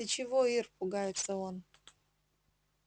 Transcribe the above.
ты чего ир пугается он